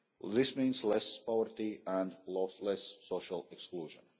This means less poverty and less social exclusion.